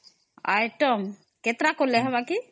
କେତେଟା କଲେ ହବ କି ?